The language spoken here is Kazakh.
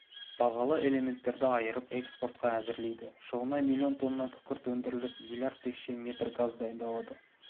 бағалы элементерді айырып экспортқа әзірлейді жылына млн тонна күкірт өндіріліп млрд текше метр газ дайындалады